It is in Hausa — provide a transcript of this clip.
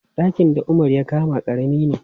Ɗakin da Umar ya kama ƙarami ne.